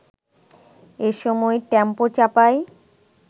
এসময় টেম্পো চাপায়